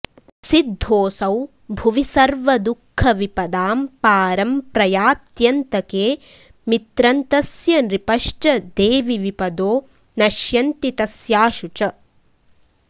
सिद्धोऽसौ भुवि सर्वदुःखविपदाम्पारम्प्रयात्यन्तके मित्रन्तस्य नृपश्च देवि विपदो नश्यन्ति तस्याशु च